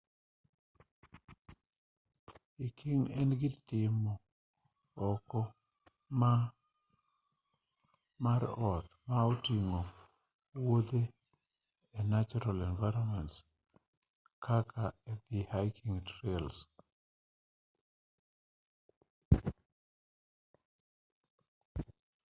hiking en gir timo oko mar ot ma oting'o wuothe e natural environments kaka e hiking trails